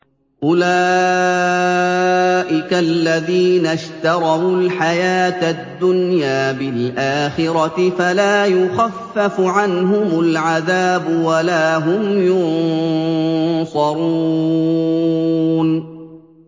أُولَٰئِكَ الَّذِينَ اشْتَرَوُا الْحَيَاةَ الدُّنْيَا بِالْآخِرَةِ ۖ فَلَا يُخَفَّفُ عَنْهُمُ الْعَذَابُ وَلَا هُمْ يُنصَرُونَ